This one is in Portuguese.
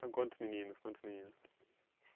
São quantos meninos, quantas meninas?